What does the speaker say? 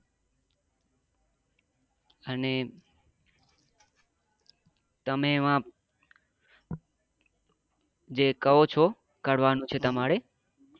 અને તમે એવા જે કહો છો કરવા નું છે તમારે